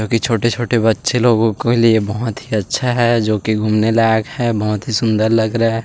जो की छोटी - छोटे बच्चो के लिए बहोत ही अच्छा है । जो की घूमने लायक है। बहुत ही सुन्दर लग रहा है। --